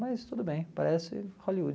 Mas tudo bem, parece Hollywood.